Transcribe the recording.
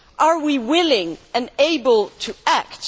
Are we willing and able to act?